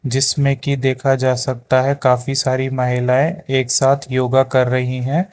जिसमें कि देखा जा सकता है काफी सारी महिलाएं एक साथ योगा कर रही हैं।